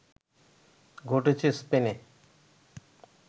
ঘটেছে স্পেনে